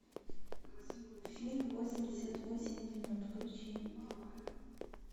фильм восемьдесят восемь минут включи